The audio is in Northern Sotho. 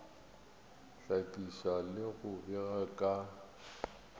hlakiša le go bega ka